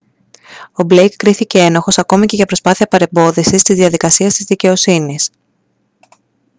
ο μπλέικ κρίθηκε ένοχος ακόμα για προσπάθεια παρεμπόδισης της διαδικασίας της δικαιοσύνης